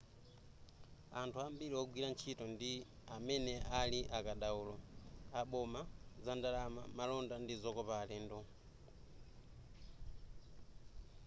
anthu ambiri wogwira ntchito ndi amene ali akadaulo aboma zandalama malonda ndi zokopa alendo